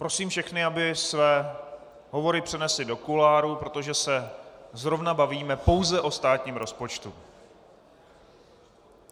Prosím všechny, aby své hovory přenesli do kuloárů, protože se zrovna bavíme pouze o státním rozpočtu.